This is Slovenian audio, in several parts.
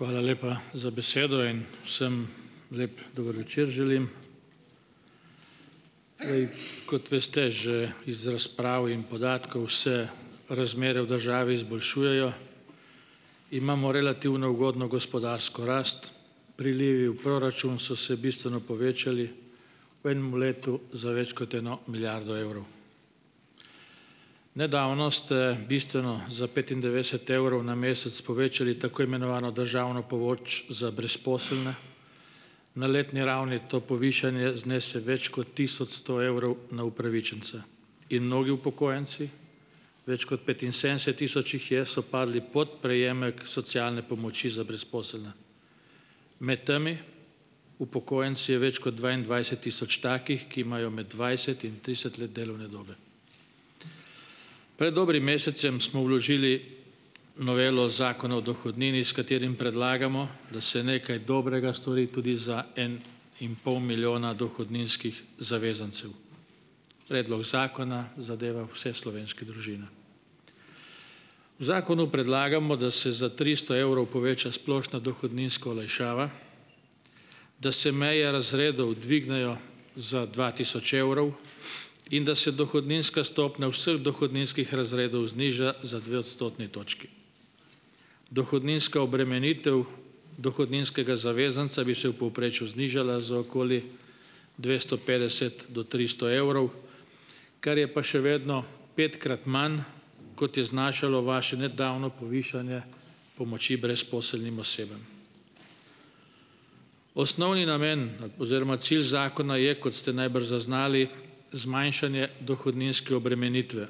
Hvala lepa za besedo. In vsem lep dober večer želim! Kot veste že iz razprav in podatkov, se razmere v državi izboljšujejo. Imamo relativno ugodno gospodarsko rast, prilivi v proračun so se bistveno povečali, v enem letu za več kot eno milijardo evrov. Nedavno ste bistveno, za petindevetdeset evrov na mesec povečali tako imenovano državno pomoč za brezposelne. Na letni ravni to povišanje znese več kot tisoč sto evrov na upravičenca. In mnogi upokojenci, več kot petinsedemdeset tisoč jih je, so padli pod prejemek socialne pomoči za brezposelne. Med temi upokojenci je več kot dvaindvajset tisoč takih, ki imajo med dvajset in trideset let delovne dobe. Pred dobrim mesecem smo vložili novelo zakona o dohodnini, s katerim predlagamo, da se nekaj dobrega stori tudi za en in pol milijona dohodninskih zavezancev. Predlog zakona zadeva vse slovenske družine. V zakonu predlagamo, da se za tristo evrov poveča splošna dohodninska olajšava, da se meje razredov dvignejo za dva tisoč evrov in da se dohodninska stopnja vseh dohodninskih razredov zniža za dve odstotni točki. Dohodninska obremenitev dohodninskega zavezanca bi se v povprečju znižala za okoli dvesto petdeset do tristo evrov, kar je pa še vedno petkrat manj, kot je znašalo vaše nedavno povišanje pomoči brezposelnim osebam. Osnovni namen na oziroma cilj zakona je, kot ste najbrž zaznali, zmanjšanje dohodninske obremenitve,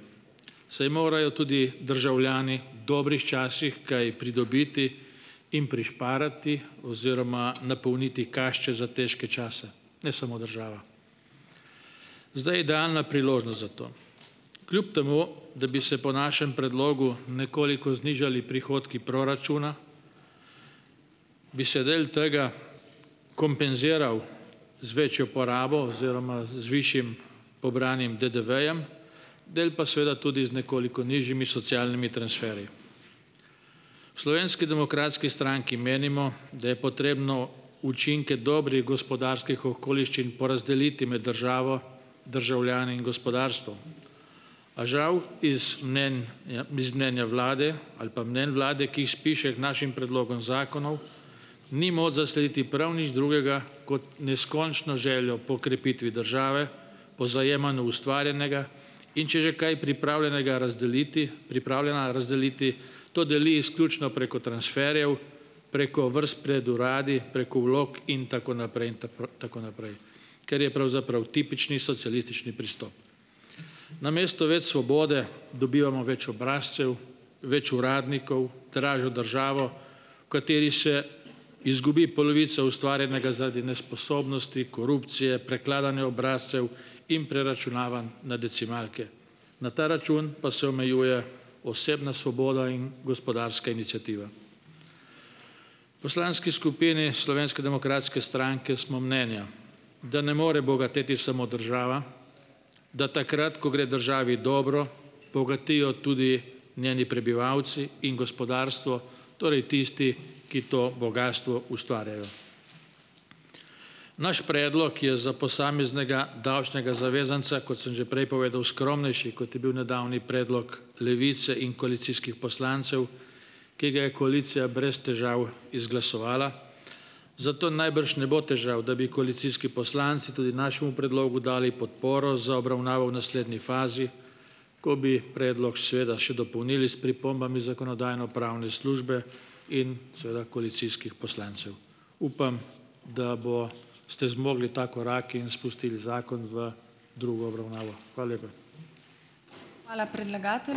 saj morajo tudi državljani v dobrih časih kaj pridobiti in prišparati oziroma napolniti kašče za težke čase, ne samo država. Zdaj je idealna priložnost za to. Kljub temu da bi se po našem predlogu nekoliko znižali prihodki proračuna, bi se del tega kompenziral z večjo porabo oziroma z z višjim pobranim DDV-jem, del pa seveda tudi z nekoliko nižjimi socialnimi transferji. V Slovenski demokratski stranki menimo, da je potrebno učinke dobrih gospodarskih okoliščin porazdeliti med državo, državljani in gospodarstvom. A žal, iz mnenja biz mnenja vlade ali pa mnenj vlade, ki jih spiše k našim predlogom zakonov, ni moč zaslediti prav nič drugega kot neskončno željo po krepitvi države, po zajemanju ustvarjenega, in če že kaj pripravljenega razdeliti, pripravljena razdeliti, to deli izključno preko transferjev, preko vrst pred uradi, preko vlog in tako naprej, in tako, tako naprej, ker je pravzaprav tipični socialistični pristop. Namesto več svobode dobivamo več obrazcev, več uradnikov, dražjo državo, v kateri se izgubi polovico ustvarjenega zaradi nesposobnosti, korupcije, prekladanja obrazcev in preračunavanj na decimalke. Na ta račun pa se omejuje osebna svoboda in gospodarska iniciativa. V poslanski skupini Slovenske demokratske stranke smo mnenja, da ne more bogateti samo država, da takrat, ko gre državi dobro, bogatijo tudi njeni prebivalci in gospodarstvo, torej tisti, ki to bogastvo ustvarjajo. Naš predlog je za posameznega davčnega zavezanca, kot sem že prej povedal, skromnejši, kot je bil nedavni predlog Levice in koalicijskih poslancev, ki ga je koalicija brez težav izglasovala. Zato najbrž ne bo težav, da bi koalicijski poslanci tudi našemu predlogu dali podporo za obravnavo v naslednji fazi, ko bi predlog seveda še dopolnili s pripombami zakonodajno-pravne službe in seveda koalicijskih poslancev. Upam, da bo ste zmogli ta korak in spustili zakon v drugo obravnavo. Hvala lepa.